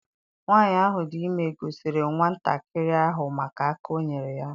Nwaanyị ahụ dị ime gọziri nwatakịrị ahụ maka aka o nyere ya.